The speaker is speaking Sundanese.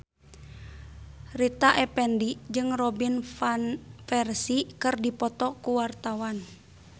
Rita Effendy jeung Robin Van Persie keur dipoto ku wartawan